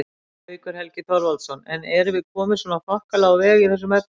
Haukur Helgi Þorvaldsson: En erum við komin svona þokkalega á veg í þessum efnum?